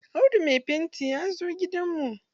Audu mai fanti ya zo gidan mu.